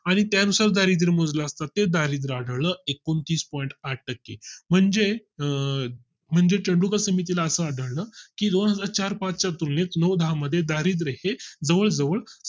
आणि त्यानुसार दारिद्र मोजला प्रत्येक दारिद्रला आढळलं एकोणतीस point आठ टक्के म्हणजे अं म्हणजे तेंडुलकर समिती ला असं आढळलं कि दोनहजार चार पाच च्या तुलनेत नऊ दहा मध्ये दारिद्रय़ हे जवळ जवळ